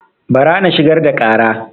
Bara na shigar da ƙara